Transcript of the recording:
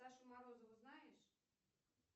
сашу морозову знаешь